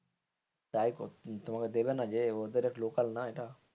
তোমাকে দেবেন না যে ওদের লোকাল না এটা.